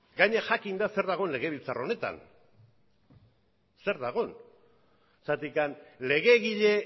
gainera jakinda zer dagoen legebiltzar honetan legegile